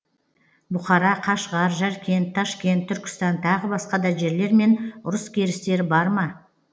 бұқара қашғар жәркент ташкент түркістан тағы басқа да жерлермен ұрыс керістері бар ма